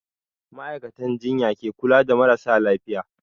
Ma'aikatan jinya ke kula da marasa lafiya.